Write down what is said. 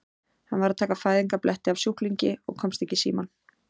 Hann var að taka fæðingarbletti af sjúklingi og komst ekki í símann.